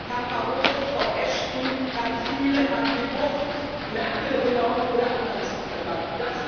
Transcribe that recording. Herrn Barroso, Frau Ashton, Herrn Füle, Herrn De Gucht, Merkel, Hollande oder anderen zu verdanken.